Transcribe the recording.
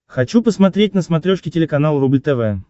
хочу посмотреть на смотрешке телеканал рубль тв